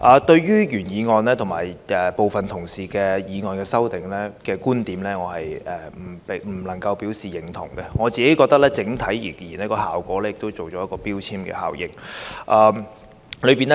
對於原議案和部分同事在修正案提出的觀點，我不能表示認同，因我認為整體而言，其效果是會製造標籤效應。